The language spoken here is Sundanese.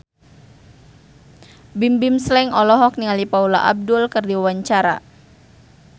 Bimbim Slank olohok ningali Paula Abdul keur diwawancara